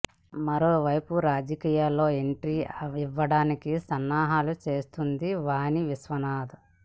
మరో వైపు రాజకీయాల్లోకి ఎంట్రీ ఇవ్వడానికి సన్నాహాలు చేస్తుంది వాని విశ్వనాధ్